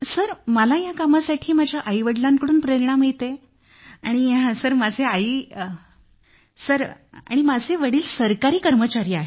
sir मला या कामासाठी माझ्या आईवडिलांकडून प्रेरणा मिळते सर माझे वडील सरकारी कर्मचारी आहेत